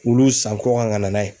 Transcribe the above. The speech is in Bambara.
Wulu san kɔkan ka na n'a ye